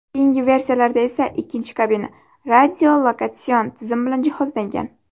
Keyingi versiyalarda esa ikkinchi kabina radiolokatsion tizim bilan jihozlangan.